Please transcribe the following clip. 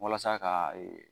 Walasa ka